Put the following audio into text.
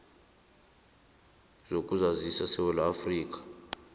zokuzazisa zesewula afrika